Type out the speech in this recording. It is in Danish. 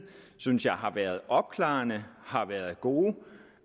synes jeg har været opklarende har været gode